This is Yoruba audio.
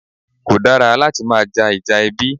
Kò dára láti máa ja Ìjà ẹbí